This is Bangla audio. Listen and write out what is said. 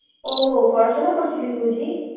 ও পরাশুনা করছিলে বুঝি